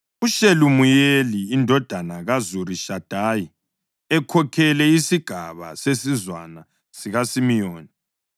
UShelumiyeli indodana kaZurishadayi ekhokhele isigaba sesizwana sikaSimiyoni,